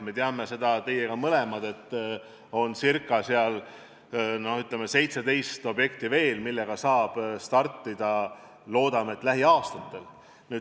Me mõlemad teame, et ca 17 objekti on veel, millega saab startida loodetavasti lähiaastatel.